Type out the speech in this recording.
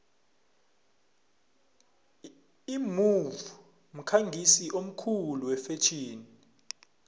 imove mkhangisi omkhulu wefetjheni